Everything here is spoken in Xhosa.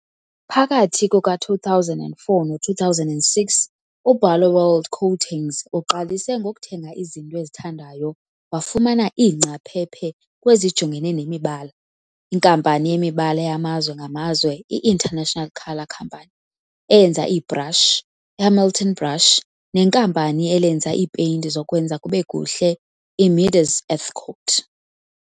Phakathi kuka-2004 no-2006, uBarloworld Coatings uqalise ngokuthenga izinto ezithandwayo wafumana iingcaphephe kwezijongene nemibala, iNkampani yeMibala yamazwe ngamazwe i-International Colour Company, eyenza iibrashi, iHamilton Brush nenkampani elenza iipeyinti zokwenza kubekuhle, iMidas Earthcote.